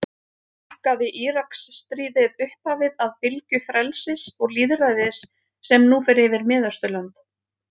Markaði Íraksstríðið upphafið að bylgju frelsis og lýðræðis sem nú fer yfir Miðausturlönd?